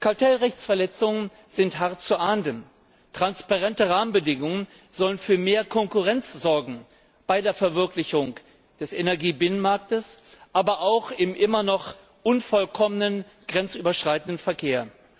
Kartellrechtsverletzungen sind hart zu ahnden, transparente Rahmenbedingungen sollen für mehr Konkurrenz sorgen bei der Verwirklichung des Energiebinnenmarkts, aber auch im immer noch unvollkommenen grenzüberschreitenden Verkehr.